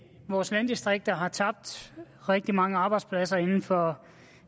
vores landdistrikter har tabt rigtig mange arbejdspladser inden for